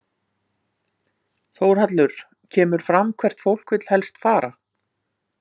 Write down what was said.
Þórhallur: Kemur fram hvert fólk vill helst fara?